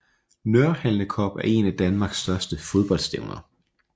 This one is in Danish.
Nørhalne Cup er en af danmarks største fodboldstævner